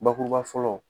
Bakuruba fɔlɔ